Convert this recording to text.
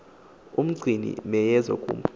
umgcini miyezo kum